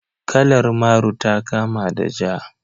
Kalar Maru ta kama da Ja.